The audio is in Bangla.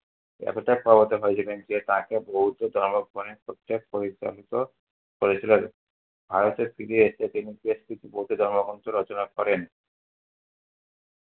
এতটাই প্রবত্তক হয়েছিলেন যে তাকে বৌদ্ধ ধর্ম পরিচালিত করেছিলেন। ভারতে ফিরে এসে তিনি বেশকিছু বৌদ্ধ ধর্মগ্রন্থ রচনা করেন।